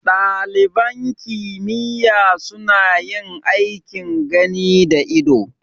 Ɗaliban kimiyya suna yin aikin gani da ido